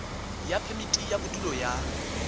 ya phemiti ya bodulo ya